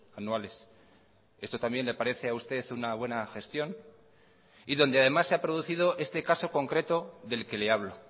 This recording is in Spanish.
anuales esto también le parece a usted una buena gestión y donde además se ha producido este caso concreto del que le hablo